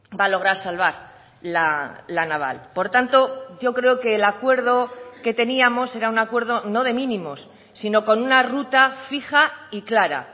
va a lograr salvar la naval por tanto yo creo que el acuerdo que teníamos era un acuerdo no de mínimos sino con una ruta fija y clara